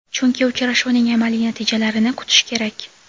chunki uchrashuvning amaliy natijalarini kutish kerak.